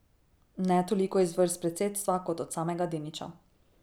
Ne toliko iz vrst predsedstva kot od samega Deniča.